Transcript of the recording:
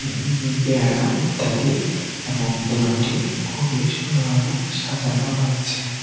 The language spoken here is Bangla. উম উম পেয়ারা ইত্যাদি এবং দোকানটি খুবই সুন্দরভাবে সাজানো রয়েছে।